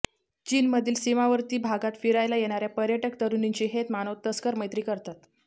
चीनमधील सीमावर्ती भागात फिरायला येणाऱ्या पर्यटक तरुणींशी हे मानव तस्कर मैत्री करतात